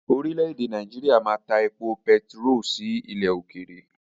Orílẹ̀-èdè Nàìjíríà máa ta èpò pẹtiró sí ilẹ̀ òkèèrè.